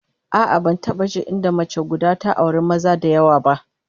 A'a, ban taba jin inda mace guda ta auri maza da yawa ba